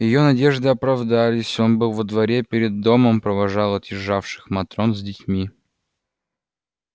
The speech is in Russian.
её надежды оправдались он был во дворе перед домом провожал отъезжавших матрон с детьми